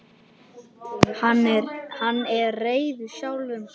Hann er reiður sjálfum sér.